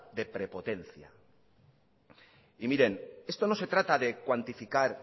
de prepotencia miren esto no se trata de cuantificar